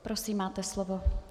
Prosím, máte slovo.